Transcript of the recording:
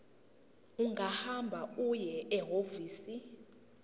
ungahamba uye ehhovisi